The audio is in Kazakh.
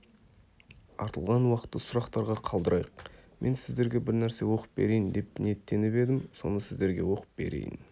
артылған уақытты сұрақтарға қалдырайық мен сіздерге бірнәрсе оқып берейін деп ниеттеніп едім соны сіздерге оқып берейін